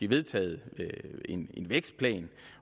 vedtaget en vækstplan